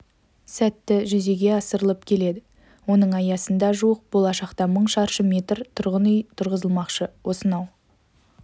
сәтті жүзеге асырылып келеді оның аясында жуық болашақта мың шаршы метр тұрғын үй тұрғызылмақшы осынау